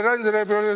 Oot-oot.